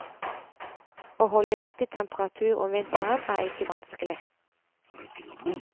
Å holde riktig temperatur om vinteren er ikke vanskelig.